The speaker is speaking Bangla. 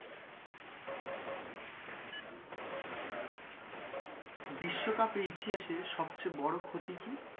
বিশ্ব কাপের ইতিহাসে সবচেয়ে বড় ক্ষতি কি?